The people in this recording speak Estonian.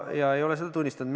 Ma ei ole seda tunnistanud.